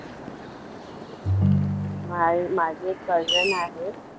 मा माझी एक cousin आहे